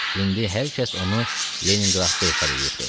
İndi hər kəs onu Leninqradda hesab eləyirdi.